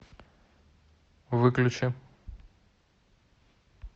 выключи